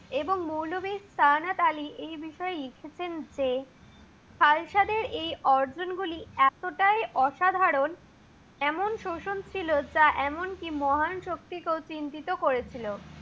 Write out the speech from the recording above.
এবং মওলবী সারনাত আলী এই বিষয়ে লিখেছেন যে, হালসাতের এই অর্জন গুলি এতটাই অসাধারণ। এমন শোষণ ছিল যা এমন কি মহা রাজার মহান শক্তিকে ও চিন্তিত করেছিল।